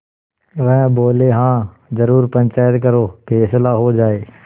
वह बोलेहाँ जरूर पंचायत करो फैसला हो जाय